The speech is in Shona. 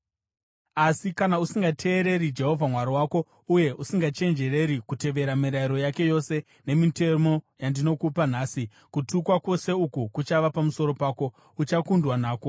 Asi, kana usingateereri Jehovha Mwari wako uye usingachenjereri kutevera mirayiro yake yose nemitemo yandinokupa nhasi, kutukwa kwose uku kuchava pamusoro pako, uchakundwa nako: